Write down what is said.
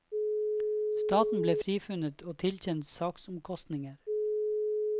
Staten ble frifunnet og tilkjent saksomkostninger.